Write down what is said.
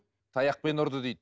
таяқпен ұрды дейді